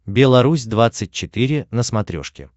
белорусь двадцать четыре на смотрешке